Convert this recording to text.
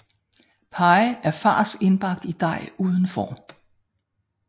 Pie er fars indbagt i dej uden form